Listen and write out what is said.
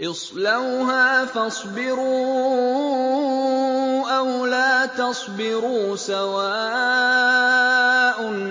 اصْلَوْهَا فَاصْبِرُوا أَوْ لَا تَصْبِرُوا سَوَاءٌ